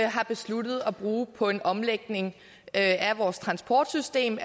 har besluttet at bruge på en omlægning af vores transportsystem